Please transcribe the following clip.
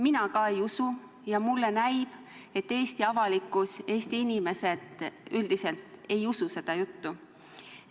Mina ka ei usu ja mulle näib, et Eesti avalikkus, Eesti inimesed üldiselt ei usu seda juttu.